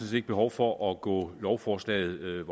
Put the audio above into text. set ikke behov for at gå lovforslaget